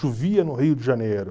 Chovia no Rio de Janeiro.